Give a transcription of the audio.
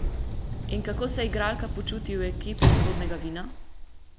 In kako se igralka počuti v ekipi Usodnega vina?